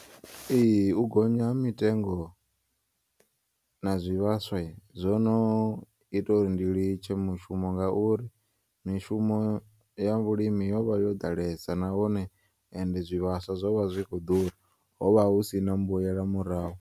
Ee, u gonya ha mitengo na zwivhaswa zwono ita uri ndi litshe mushumo ngauri mishumo ya vhulimi yovha yo ḓalesa na hone and zwivhaswa zwo vha zwi khou ḓura hovha husina mbuyela murahu.